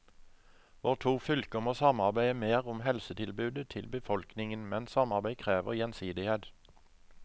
Våre to fylker må samarbeide mer om helsetilbudet til befolkningen, men samarbeid krever gjensidighet.